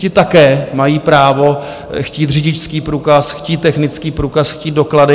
Ti také mají právo chtít řidičský průkaz, chtít technický průkaz, chtít doklady.